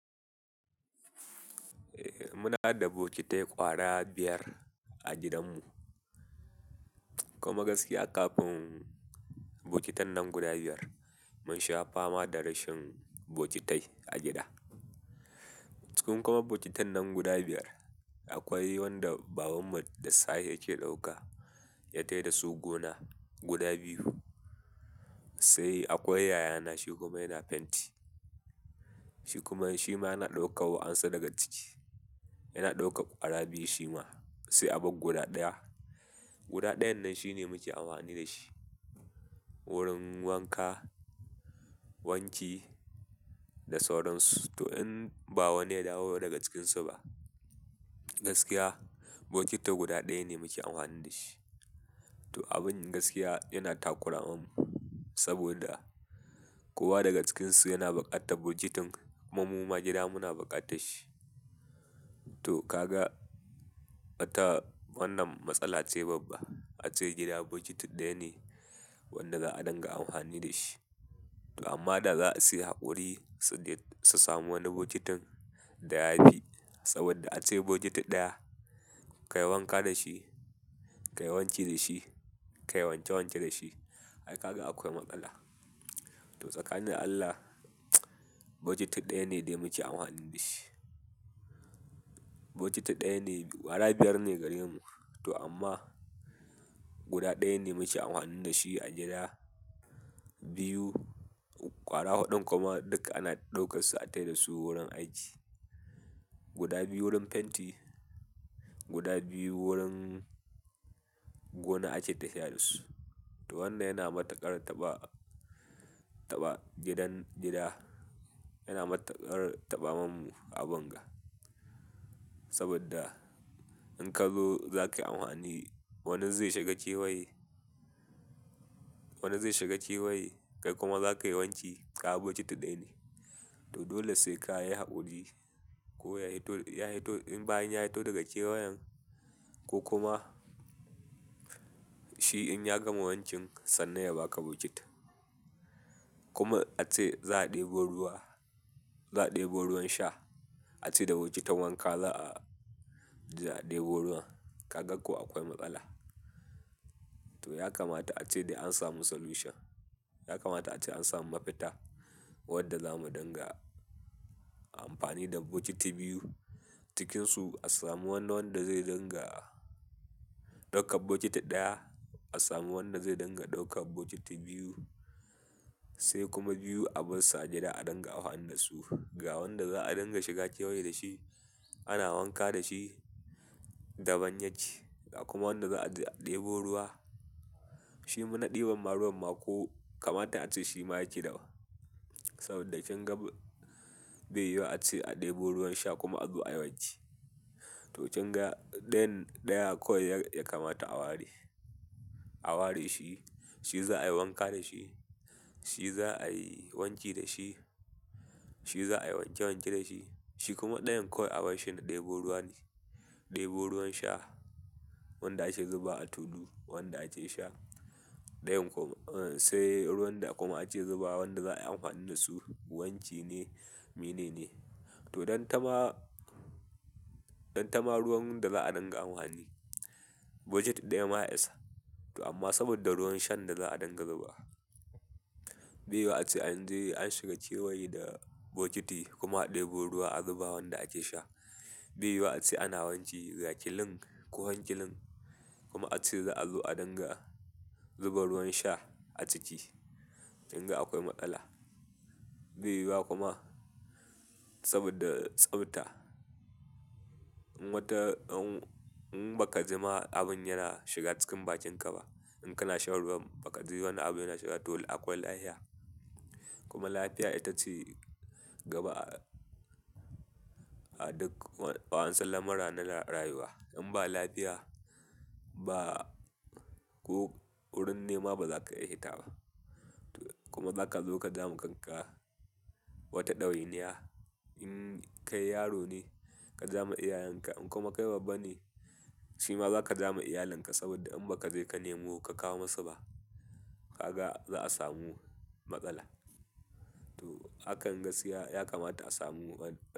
Eh muna da bokitai ƙwara biyar a gidanmu. Kuma gaskiya ƙafin bokitan nan guda biyar mun sha fama da rashin bokitai a gida. Cikin kuma bokitan nan guda biyar akwai wanda babanmu da safe yake ɗauka ya tai da su gona guda biyu. Sai akwai yayana shi kuma yana fenti. Shi kuma shima yana ɗauka wa ansu daga ciki. Yana ɗauka ƙwara biyu shi ma sai abagguda ɗaya. Guda ɗayan nan shine muke amfani da shi wurin wanka, wanki da sauransu. To in ba wani ya dawo daga cikinsu ba, gaskiya bokiti guda ɗaya ne muke amfani da shi. To abin gaskiya yana takura mamu saboda kowa daga cikinsu yana buƙatar bokitin. Kuma muma gida muna buƙatashshi. To kaga mata wannan matsala ce babba. A ce gida bokitin ɗaya ne wanda za a dinga amfani da shi. Amma da za a siya haƙuri su samu wani bokitin da ya fi. Saboda a ce bokiti ɗaya ka yi wanka da shi, ka yi wanki da shi, ka yi wanke wanke da shi. Ai kaga akwai matsala. To tsakani da Allah bokiti ɗaya ne dai muke amfani da shi. Bokiti ɗaya ne, ƙwara biyar ne gare mu. To amma guda ɗaya ne muke amfani da shi a gida. Biyu, ƙwara huɗun kuma duka ana ɗaukar su a tai dasu wurin aiki. Guda biyu wurin fenti, guda biyu wurin gona ake tafiya da su. To wannan yana matukar taɓa, taɓa gidan, gida yana matukar taɓa mamu a bunga. Saboda in ka zo za ka yi amfani, wani zai shiga kewaye. Wani zai shiga kewaye kai kuma za ka yi wanki kaga bokiti ɗaya ne. To dole sai ka yi haƙuri ko ya hito ya hito in bayan ya hito daga kewayen ko kuma shi in ya gama wankin sannan ya ba ka bokitin. Kuma a ce za a ɗebo ruwa, za a ɗebo ruwan sha. A ce da bokitin wanka za a, za a ɗebo ruwan. Kaga ko akwai matsala. To ya kamata ace dai an samu solution. Ya kamata ace an samu mafita wanda za mu dinga amfani da bokiti biyu. Cikinsu a samu wani wanda zai dinga ɗaukan bokiti ɗaya, a samu wanda zai dinga ɗauka bokiti biyu sai kuma biyu a bar su a gida a dinga amfani da su. Ga wanda za a dinga shiga cewaye da shi ana wanka da shi daban yake. Kuma wanda za a je a ɗebo ruwa shi na ɗiban ma ruwan ma ko kamata ace shi ma yake daban. Saboda kin ga bai yuwuwa ace a ɗebo ruwan sha kuma a zo ayi wanki. To kin ga ɗayan, ɗaya kawai ya kamata a ware, a ware shi. Shi za a yi wanka da shi, shi za a yi wanki da shi, shi za a yi wanke wanke da shi. Shi kuma ɗayan kawai abar shi na ɗebo ruwa ne, ɗebo ruwan sha. Wanda ake zubawa a tulu wanda ake sha. Ɗayan kuma sai ruwan da kuma ake zubawa wanda za a yi amfani da su wanki ne, me ne ne. To dan ta ma, dan ta ma ruwan da za a dinga amfani bokiti ɗaya ma ya isa. To amma saboda ruwan shan da za a dinga zubawa, bai yuwuwa ace an shiga kewaye da bokiti kuma a ɗebo ruwa a zuba wanda ake sha. Bai yuwuwa ace ana wanki ga kilin ko hankilin kuma ace za a dinga zuba ruwan sha a ciki. Kin ga akwai matsala. Bai yiwuwa kuma saboda tsabta. In wata, in in baka jima abin yana shiga cikin bakin ka ba, in kana shan ruwan ba ka ji wani abu yana shiga to akwai lafiya. Kuma lafiya ita ce gaba a duk wa'ansu lamura na rayuwa. In ba lafiya ba ko wurin nema ba za ka iya hita ba. Kuma za ka zo ka ja ma kan ka wata ɗawainiya. In kai yaro ne ka ja ma iyayen ka in kuma kai babba ne shi ma za ka ja ma iyalin ka. Saboda in ba ka je ka nemo ka kawo masu ba kaga za a samu matsala. To hakan gaskiya ya kamata a samu wani.